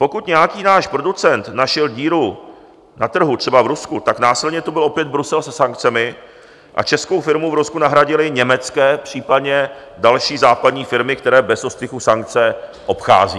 Pokud nějaký náš producent našel díru na trhu, třeba v Rusku, tak následně tu byl opět Brusel se sankcemi a českou firmu v Rusku nahradily německé, případně další západní, firmy, které bez ostychu sankce obchází.